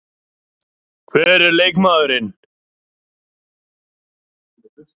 Hver er leikmaðurinn?